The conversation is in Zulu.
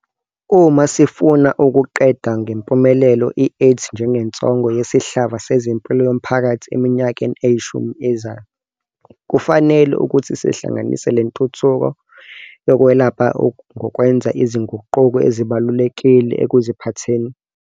Uma sifuna ukuqeda ngempumelelo i-AIDS njengensongo yesihlava sezempilo yomphakathi eminyakeni eyishumi ezayo, kufanele ukuthi sihlanganise le ntuthuko yokwelapha ngokwenza izinguquko ezibalulekile ekuziphatheni.